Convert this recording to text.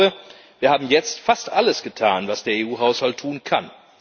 Ich glaube, wir haben jetzt fast alles getan, was der EU Haushalt tun kann.